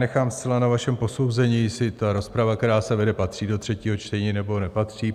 Nechám zcela na vašem posouzení, jestli ta rozprava, která se vede, patří do třetího čtení, nebo nepatří.